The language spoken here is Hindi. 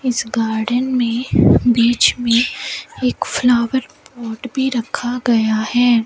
इस गार्डन में बीच में एक फ्लावर पॉट भी रखा गया है।